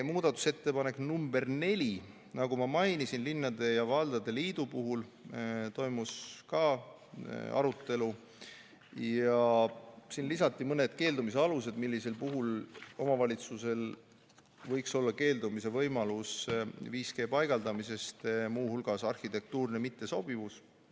Muudatusettepanek nr 4 puhul, nagu ma mainisin, esitas linnade ja valdade liit Toimus ka arutelu ja siin lisati mõned keeldumise alused, mille puhul omavalitsusel võiks olla 5G paigaldamisest keeldumise võimalus, muu hulgas näiteks arhitektuurne mittesobivus.